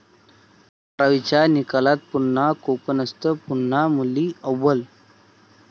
बारावीच्या निकालात पुन्हा 'कोकणस्थ', पुन्हा मुली अव्वल!